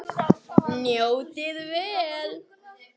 Njótið vel.